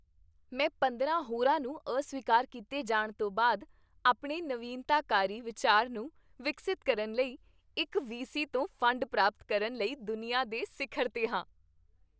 ਮੈਂ ਪੰਦਰਾਂ ਹੋਰਾਂ ਨੂੰ ਅਸਵੀਕਾਰ ਕੀਤੇ ਜਾਣ ਤੋਂ ਬਾਅਦ ਆਪਣੇ ਨਵੀਨਤਾਕਾਰੀ ਵਿਚਾਰ ਨੂੰ ਵਿਕਸਤ ਕਰਨ ਲਈ ਇੱਕ ਵੀ ਸੀ ਤੋਂ ਫੰਡ ਪ੍ਰਾਪਤ ਕਰਨ ਲਈ ਦੁਨੀਆ ਦੇ ਸਿਖਰ 'ਤੇ ਹਾਂ